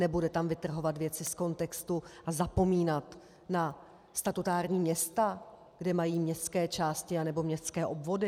Nebude tam vytrhovat věci z kontextu a zapomínat na statutární města, kde mají městské části anebo městské obvody.